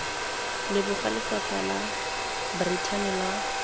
leboga lefapha la brithani la